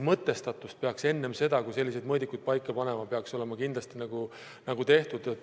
Mõtestatus peaks enne seda, kui selliseid mõõdikuid paika panna, olema kindlasti tehtud.